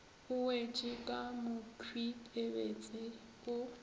o wetše ka mokhwipebetse o